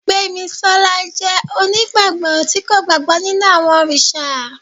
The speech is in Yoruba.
gbemisola jẹ onigbagbọ ti ko gbagbọ ninu awọn oriṣa